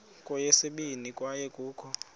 kweyesibini kwaye kukho